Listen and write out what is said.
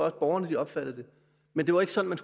at borgerne opfattede det men det var ikke sådan